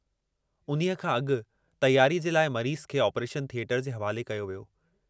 उन्हीअ खां अगु तैयारीअ जे लाइ मरीज़ खे आपरेशन थिएटर जे हवाले कयो वियो हो।